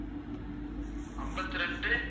ஐம்பத்தி இரண்டு